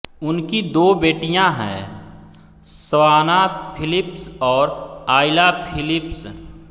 उनकी दो बेटियाँ हैं सवाना फ़िलिप्स और आइला फ़िलिप्स